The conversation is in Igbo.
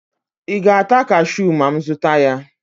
ị ga-ata cashew ma m zụta ya?